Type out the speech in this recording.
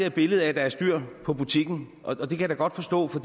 et billede af at der er styr på butikken og det kan jeg da godt forstå for